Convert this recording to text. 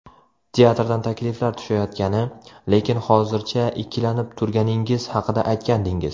Teatrdan takliflar tushayotgani, lekin hozircha ikkilanib turganingiz haqida aytgandingiz.